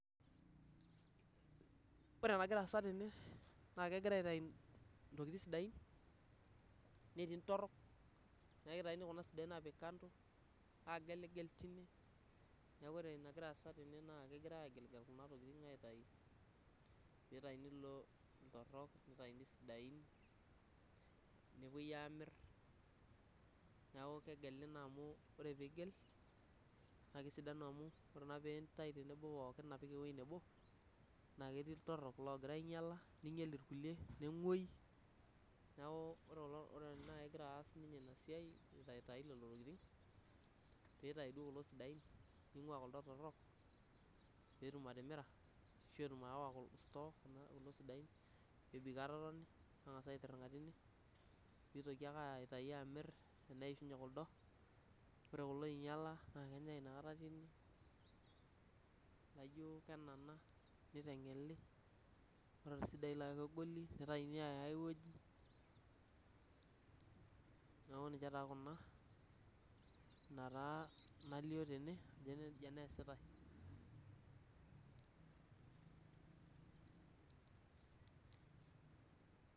Ore enagira aasa tene naa kegirae aitai intokiting sidain, netii ntorrok naa kitaini kuna sidain aapik kando aageligel tine. Neeku ore enagira aasa tene naa kegirae aageligel kuna tokiting aitayu, peeitayuni iltorrok, nitayuni isidain nepwoi aamirr. Neeku kegeli naa amu ore piigel naa kesidanu amu ore naa piintai tenebo pookin apik ewuei nebo naa ketii iltorrok logira ainyala, ninyal irkulie, nengwoi neeku ore kulo, ore naai egira aas ninye ina siai agel lelo tokiting, piitai duo kulo sidain ning'waa kuldo torrok peetum atimira ashu etum aawa store kulo sidain nebik aatoni neng'as aitirring'a tine piitoki ake aitai amirr eneishunye kuldo. Ore kulo oinyala naa kenyae inakata tine, ore ilaijo kenana niteng'eli, ore isidain laijo kegoli nitaini aaya ae wueji. Neeku ninche taa kuna, ina taa nalio tene ajo nija naa eesitae